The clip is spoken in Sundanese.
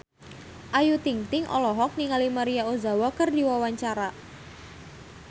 Ayu Ting-ting olohok ningali Maria Ozawa keur diwawancara